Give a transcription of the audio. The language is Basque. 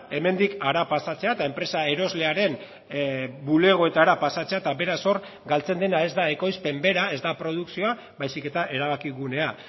hemendik hara pasatzea eta enpresa eroslearen bulegoetara pasatzea eta beraz hor galtzen dena ez da ekoizpen bera ez da produkzioa baizik eta erabakigunea